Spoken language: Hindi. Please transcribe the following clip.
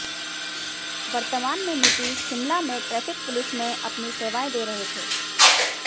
वर्तमान में नितिश शिमला में ट्रैफिक पुलिस में अपनी सेवाएं दे रहे थे